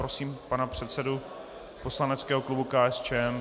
Prosím pana předsedu poslaneckého klubu KSČM.